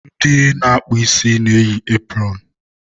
Ndị na-akpụ isi na-eyi epụrọnụ.